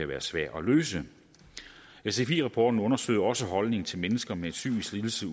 være svære at løse sfi rapporten undersøger også holdningen til mennesker med psykisk lidelse